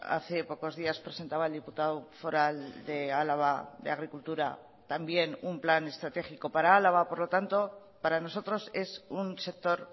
hace pocos días presentaba el diputado foral de álava de agricultura también un plan estratégico para álava por lo tanto para nosotros es un sector